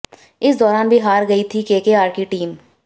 इस दाैरान भी हार गई थी केकेआर की टीम